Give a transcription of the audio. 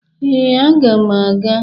Ee, aga m aga.